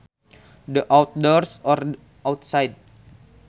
The outdoors or outside